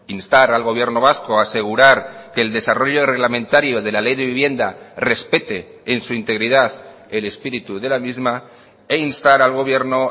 instar al gobierno vasco a asegurar que el desarrollo reglamentario de la ley de vivienda respete en su integridad el espíritu de la misma e instar al gobierno